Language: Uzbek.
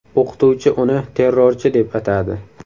O‘qituvchi uni ‘terrorchi’ deb atadi.